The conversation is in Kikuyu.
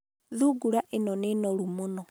thungura ĩno nĩ noru mũno